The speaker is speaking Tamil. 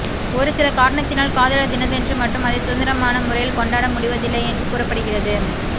ஒருசில காரணத்தினால் காதலர் தினத்தன்று மட்டும் அதை சுதந்திரமான முறையில் கொண்டாட முடிவதில்லை என்று கூறப்படுகிறது